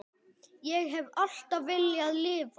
Ég hef alltaf viljað lifa.